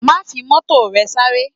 Má fi Mọ́tò rẹ sáré!